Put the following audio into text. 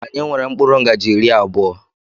Anyị nwere mkpụrụ ngaji iri abụọ.